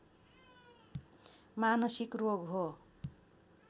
मानसिक रोग हो